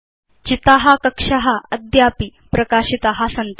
चिता कक्षा अद्यापि प्रकाशिता सन्ति